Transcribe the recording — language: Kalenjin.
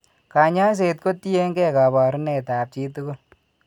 Kany'aayset ko tiyekeey kaabarunetap chi tugul.